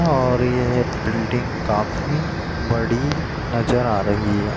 और ये बिल्डिंग काफी बड़ी नजर आ रही है।